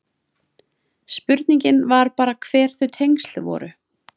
Spurningin var bara hver þau tengsl voru.